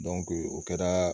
o kɛra